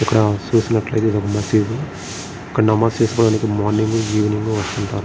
ఇక్కడ చూసినట్లయితే ఇది ఒక మసీదు ఇక్కడ నమాజు చేసుకోవడానికి మార్నింగ్ మరియు ఈవినింగ్ ఉంట --